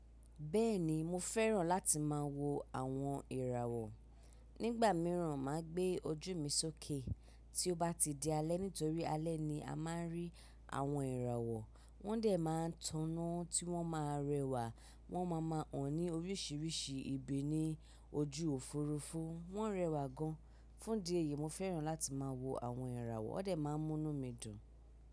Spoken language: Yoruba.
Bẹ́ẹ̀ni mo fẹ́ràn láti máa wo àwọn ìràwọ̀. Nígbà mìíràn, màá gbé ojú mi sókè tí ó bá ti di alẹ́ nítorí alẹ́ ni a máa ń rí àwọn ìràwọ̀. Wọ́n dẹ̀ máa ń tọ́nà tí wọ́n máa rẹwà, wọ́n máa máa hàn ní oríṣiríṣi ibi ní ojú Òfurufú. Wọ́n rẹwà gan. Fún di èyí, mo fẹ́ràn láti máa wo àwọn ìràwọ̀. Ó dà máa ń mú mí dùn.